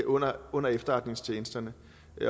under under efterretningstjenesterne